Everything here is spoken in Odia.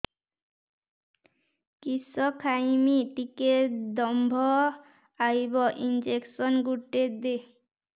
କିସ ଖାଇମି ଟିକେ ଦମ୍ଭ ଆଇବ ଇଞ୍ଜେକସନ ଗୁଟେ ଦେ